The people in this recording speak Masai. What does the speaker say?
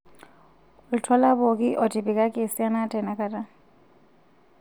oltuala pooki otipikaki esiana tenakata